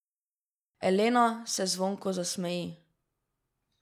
Elena se zvonko zasmeji.